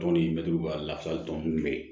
Tɔn nin mɛtiriw b'a lafasali tɔn bɛ yen